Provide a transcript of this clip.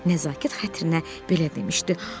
Nəzakət xətrinə belə demişdi: